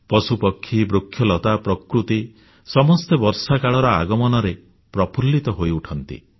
ପଶୁପକ୍ଷୀ ବୃକ୍ଷଲତା ପ୍ରକୃତି ସମସ୍ତେ ବର୍ଷାକାଳର ଆଗମନରେ ପ୍ରଫୁଲ୍ଲିତ ହୋଇଉଠନ୍ତି